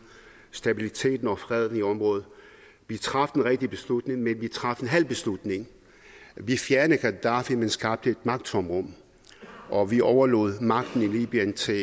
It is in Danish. stabiliteten og freden i området vi traf den rigtige beslutning men vi traf en halv beslutning vi fjernede gaddafi men skabte et magttomrum og vi overlod magten i libyen til